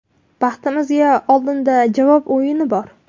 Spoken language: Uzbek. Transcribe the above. Baxtimizga oldinda javob o‘yini bor.